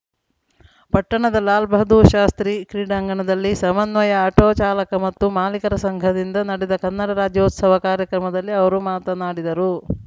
ಪಟ್ಟಣದ ಲಾಲ್‌ ಬಹದ್ದೂರ್‌ ಶಾಸ್ತ್ರಿ ಕ್ರೀಡಾಂಗಣದಲ್ಲಿ ಸಮನ್ವಯ ಆಟೋ ಚಾಲಕ ಮತ್ತು ಮಾಲೀಕರ ಸಂಘದಿಂದ ನಡೆದ ಕನ್ನಡ ರಾಜ್ಯೋತ್ಸವ ಕಾರ್ಯಕ್ರಮದಲ್ಲಿ ಅವರು ಮಾತನಾಡಿದರು